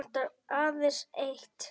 Nú vantar mig aðeins eitt!